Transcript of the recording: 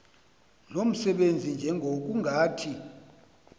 lo msebenzi njengokungathi